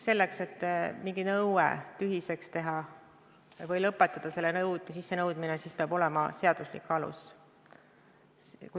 Selleks, et mingi nõue tühiseks teha või lõpetada selle sissenõudmine, peab olema seaduslik alus.